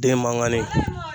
Den mankani